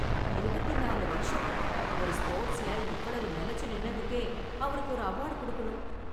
இருபத்தி நாலு வருஷம்.. ஒரு ஸ்போர்ட்ஸ்ல இவ்வளவு நிலைச்சு நின்னதுக்கே அவருக்கு ஒரு அவார்டு கொடுக்கணும்.